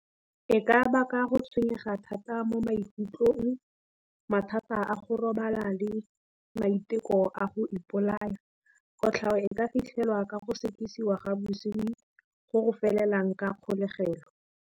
E ka baka go tshwenyega thata mo maikutlong, mathata a go robala le maiteko a go ipolaya. Kotlhao e ka fitlhelwa ka go sekisiwa ga bosenyi go go felelang ka kgolegelo.